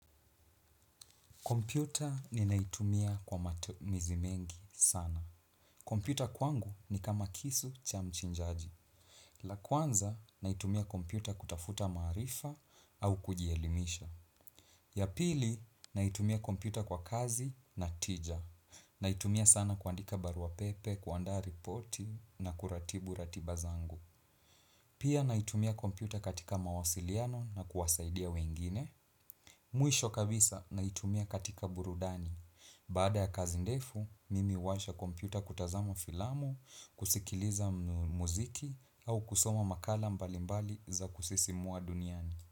Kompyuta ninaitumia kwa matumizi mengi sana. Kompyuta kwangu ni kama kisu cha mchinjaji. La kwanza, naitumia kompyuta kutafuta maarifa au kujielimisha. Ya pili, naitumia kompyuta kwa kazi na tija. Naitumia sana kuandika barua pepe, kuandaa ripoti na kuratibu ratiba zangu. Pia, naitumia kompyuta katika mawasiliano na kuwasaidia wengine. Mwisho kabisa, naitumia katika burudani. Baada ya kazi ndefu, mimi huwasha kompyuta kutazama filamu, kusikiliza muziki au kusoma makala mbalimbali za kusisimua duniani.